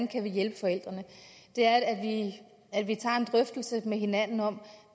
kan hjælpe forældrene er at at vi tager en drøftelse med hinanden om